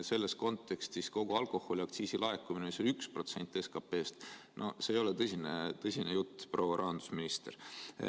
Selles kontekstis kogu alkoholiaktsiisi laekumine, mis oli 1% SKP‑st – no see ei ole tõsine jutt, proua rahandusminister.